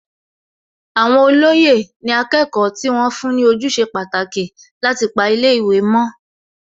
Àwọn olóyè ni akẹ́kọ̀ọ́ tí wọ́n fún ní ojúṣe pàtàkì láti pa ilé ìwé mọ́